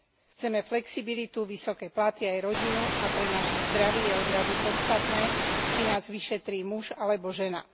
Chceme flexibilitu, vysoké platy aj rodinu a pre naše zdravie je odrazu podstatné, či nás vyšetrí muž alebo žena.